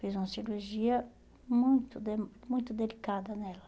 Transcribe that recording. Fez uma cirurgia muito de muito delicada nela.